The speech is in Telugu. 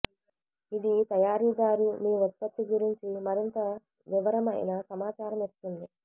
ఇది తయారీదారు మీ ఉత్పత్తి గురించి మరింత వివరమైన సమాచారం ఇస్తుంది